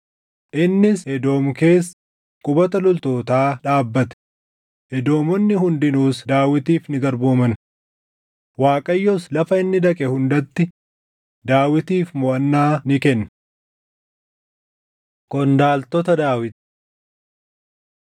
Innis Edoom keessa qubata loltootaa dhaabbate; Edoomonni hundinuus Daawitiif ni garbooman. Waaqayyos lafa inni dhaqe hundatti Daawitiif moʼannaa ni kenne. Qondaaltota Daawit 18:14‑17 kwf – 2Sm 8:15‑18